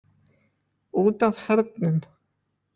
Út af hernum.